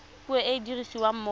puo e e dirisiwang mo